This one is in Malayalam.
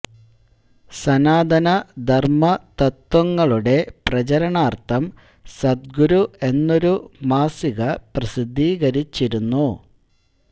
സനാതന ധർമ്മ തത്ത്വങ്ങളുടെ പ്രചരണാർത്ഥം സദ്ഗുരു എന്നൊരു മാസിക പ്രസിദ്ധീകരിച്ചിരുന്നു